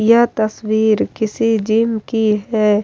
यह तस्वीर किसी जिम की है।